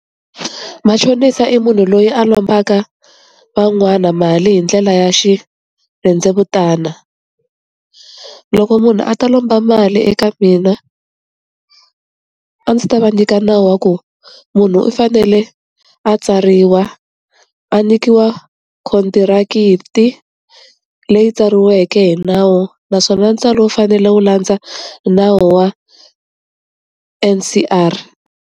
Machonisa i munhu loyi a lombaka van'wana mali hi ndlela ya xirhendzevutana loko munhu a ta lomba mali eka mina a ndzi ta va nyika nawu wa ku munhu u fanele a tsariwa a nyikiwa khondirakiki leyi tsariweke hi nawu naswona ntswalo wu fanele wu landza nawu wa M_C_R.